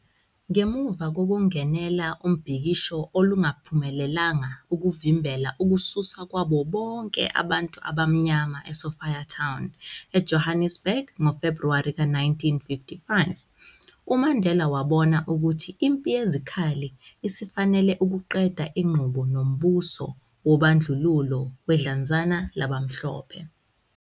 Ngemuva kokungenela ubhikisho olungaphumelelanga, ukuvimbela ukususwa kwabo bonke abantu abamnyama eSophiatown, eJohannesburg ngoFebruwari ka-1955, uMandela wabona ukuthi impi yezikhali isifanele ukuqeda inqubo nombuso wobandlululo wedlanzana labamhlophe.